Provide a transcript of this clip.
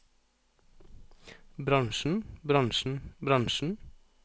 bransjen bransjen bransjen